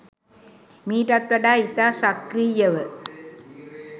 මීටත් වඩා ඉතා සක්‍රීයව